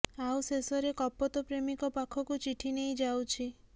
ଆଉ ଶେଷରେ କପୋତ ପ୍ରେମିକ ପାଖକୁ ଚିଠି ନେଇ ଯାଉଛି